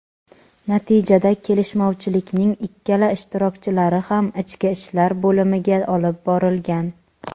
natijada kelishmovchilikning ikkala ishtirokchilari ham ichki ishlar bo‘limiga olib borilgan.